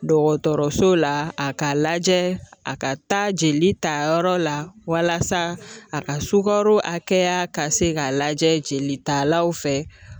Dɔgɔtɔrɔso la a k'a lajɛ a ka taa jelitayɔrɔ la walasa a ka sukaro hakɛya ka se k'a lajɛ jelitalaw fɛ .